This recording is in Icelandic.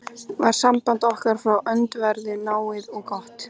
var samband okkar frá öndverðu náið og gott.